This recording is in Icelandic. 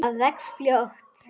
Það vex fljótt.